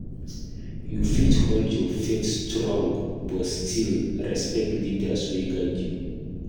You fit hold your faith strong, but still respect leaders wey guide you.